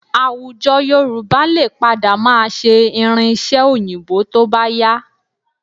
Àwùjọ Yorùbá lè padà máa ṣe irin-iṣẹ́ Òyìnbó tó bá yá